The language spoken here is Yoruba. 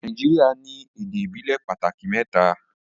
Nàìjíríà ní èdè ìbílè pàtàkì mẹ́ta